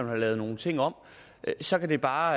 have lavet nogle ting om så det kan bare